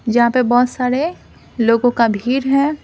जहां पे बहुत सारे लोगों का भीड़ है।